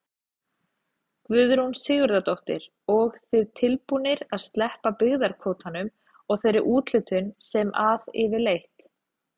Guðrún Sigurðardóttir: Og þið tilbúnir að sleppa byggðakvótanum og þeirri úthlutun sem að yfirleitt?